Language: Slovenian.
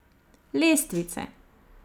Lestvice.